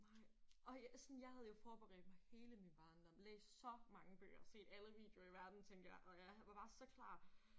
Nej og jeg sådan jeg havde jo forberedt mig hele min barndom læst så mange bøger set alle videoer i verden tænkte jeg og jeg havde jeg var bare så klar